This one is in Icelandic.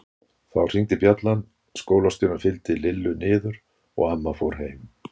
Þá hringdi bjallan, skólastjórinn fylgdi Lillu niður og amma fór heim.